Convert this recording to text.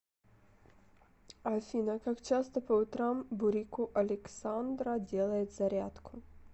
афина как часто по утрам бурико александраделает зарядку